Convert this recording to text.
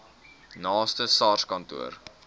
naaste sars kantoor